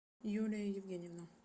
юлия евгеньевна